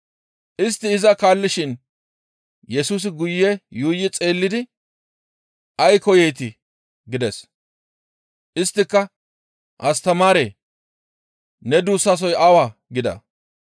Istti iza kaallishin Yesusi guye yuuyi xeellidi, «Ay koyeetii?» gides. Isttika, «Astamaaree! Ne duussasoy awaa?» gida.